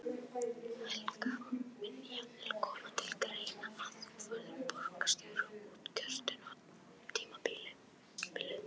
Helga: Mun jafnvel koma til greina að þú verðir borgarstjóri út kjörtímabilið?